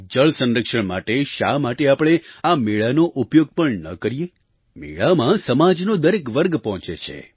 જળસંરક્ષણ માટે શા માટે આપણે આ મેળાનો ઉપયોગ પણ ન કરીએ મેળામાં સમાજનો દરેક વર્ગ પહોંચે છે